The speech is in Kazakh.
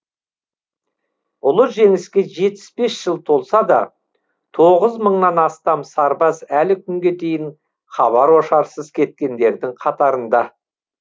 ұлы жеңіске жетпіс бес жыл толса да тоғыз мыңнан астам сарбаз әлі күнге дейін хабар ошарсыз кеткендердің қатарында